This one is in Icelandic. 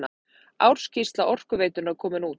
Ársskýrsla Orkuveitunnar komin út